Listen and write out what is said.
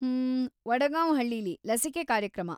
ಹ್ಮ್, ವಡ್‌ಗಾಂ ಹಳ್ಳೀಲಿ ಲಸಿಕೆ ಕಾರ್ಯಕ್ರಮ.